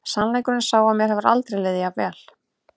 Sannleikurinn er sá að mér hefur aldrei liðið jafn vel.